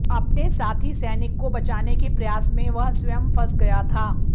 अपने साथी सैनिक को बचाने के प्रयास में वह स्वयं फंस गया था